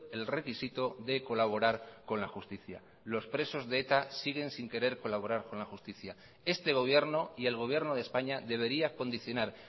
el requisito de colaborar con la justicia los presos de eta siguen sin querer colaborar con la justicia este gobierno y el gobierno de españa debería condicionar